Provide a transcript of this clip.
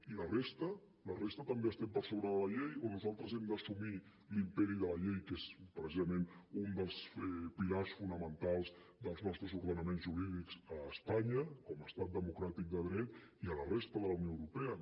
i la resta la resta també estem per sobre de la llei o nosaltres hem d’assumir l’imperi de la llei que és precisament un dels pilars fonamentals dels nostres ordenaments jurídics a espanya com a estat democràtic de dret i a la resta de la unió europea